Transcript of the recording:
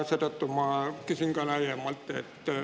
Seetõttu ma küsin ka laiemalt.